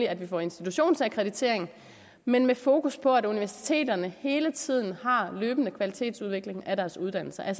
at vi får institutionsakkreditering men med fokus på at universiteterne hele tiden har løbende kvalitetsudvikling af deres uddannelser at